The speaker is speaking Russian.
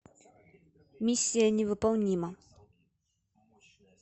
миссия невыполнима